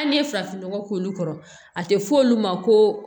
Hali n'i ye farafinnɔgɔ k'olu kɔrɔ a tɛ fɔ olu ma ko